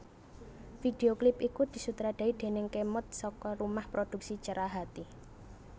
Video klip iku disutradarai déning Khemod saka rumah produksi Cerahati